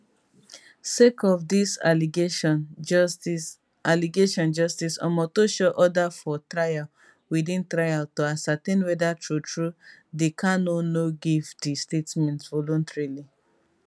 sake of dis allegation justice allegation justice omotosho order for trial within trial to ascertain weda truetrue di kanu no give di statement voluntarily